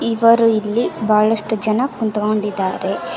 ಇವರು ಇಲ್ಲಿ ಬಹಳಷ್ಟ ಜನ ಕಕುಂತ್ಕೊಂಡಿದಾರೆ.